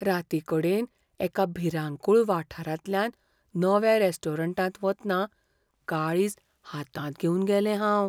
रातीकडेन एका भिरांकूळ वाठारांतल्यान नव्या रेस्टॉरंटांत वतना काळीज हातांत घेवन गेलें हांव.